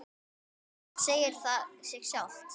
Samt segir það sig sjálft.